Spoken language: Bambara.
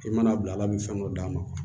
I mana bila ala bɛ fɛn dɔ d'a ma